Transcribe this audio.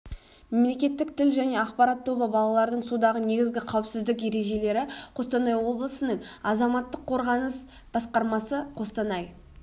мемлекеттік тіл және ақпарат тобы балалардың судағы негізгі қауіпсіздік ережелері қостанай облысының азаматтық қорғаныс басқармасы қостанай